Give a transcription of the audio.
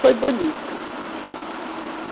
Foi bonito.